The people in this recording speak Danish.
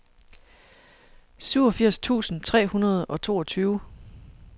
syvogfirs tusind tre hundrede og toogtyve